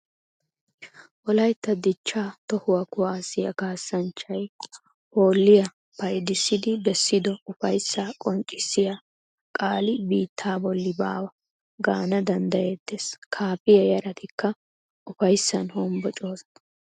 Wolaytta dichcha tohuwa kuwasiya kaassanchchay hoolliya payddissidi bessido ufayssa qonccissiya qaali biitta bolli baawa gaana danddayetees. Kaafiya yaratikka ufayssan honbboccosonna.